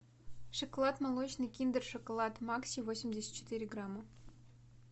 шоколад молочный киндер шоколад макси восемьдесят четыре грамма